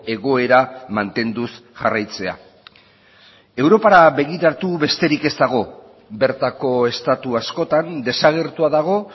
egoera mantenduz jarraitzea europara begiratu besterik ez dago bertako estatu askotan desagertua dago